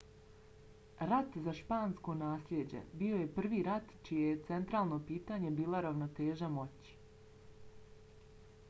rat za špansko naslijeđe bio je prvi rat čije je centralno pitanje bila ravnoteža moći